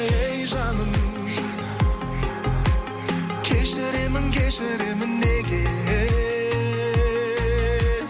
ей жаным кешіремін кешіремін неге